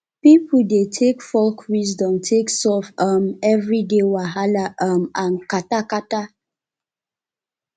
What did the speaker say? pipo dey take folk wisdom take solve um everyday wahala um and kata um kata